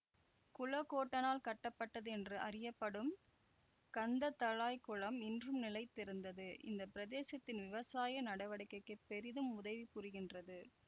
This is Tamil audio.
குளக்கோட்டனால் கட்டப்பட்டது என்று அறியப்படும் கந்தளாய்க் குளம் இன்றும் நிலைத்திருந்து இந்த பிரதேசத்தின் விவசாய நடவடிக்கைக்கு பெரிதும் உதவி புரிகின்றது